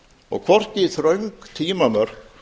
og hvorki þröng tímamörk